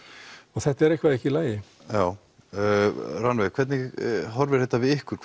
og þetta er eitthvað ekki í lagi já Rannveig hvernig horfir þetta við ykkur